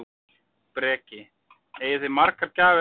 Breki: Eigið þið margar gjafir eftir?